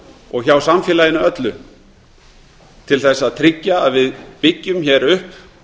og hjá samfélaginu öllu til þess að tryggja að við byggjum hér upp